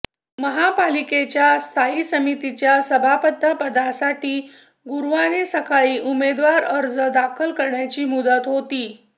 महापालिकेच्या स्थायी समितीच्या सभापतीपदासाठी गुरुवारी सकाळी उमेदवारी अर्ज दाखल करण्याची मुदत होती